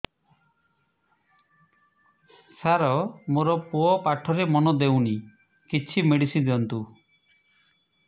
ସାର ମୋର ପୁଅ ପାଠରେ ମନ ଦଉନି କିଛି ମେଡିସିନ ଦିଅନ୍ତୁ